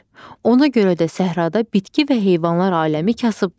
Ona görə də səhrada bitki və heyvanlar aləmi kasıbdır.